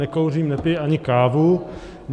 Nekouřím, nepiji ani kávu.